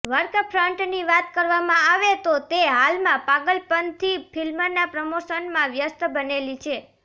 work ફ્રન્ટની વાત કરવામાં આવે તો તે હાલમાં પાગલપંથી ફિલ્મના પ્રમોશનમાં વ્યસ્ત બનેલી છે